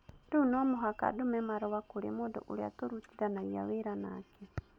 Rĩu no mũhaka ndũme marũa kũrĩ mũndũ ũrĩa tũrutithanagia wĩra nake.